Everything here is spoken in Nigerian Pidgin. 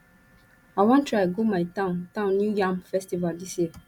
i wan try go my town town new yam festival dis year